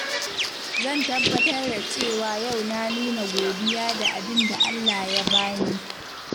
Zan tabbatar da cewa yau na nuna godiya da abin da Allah ya bani.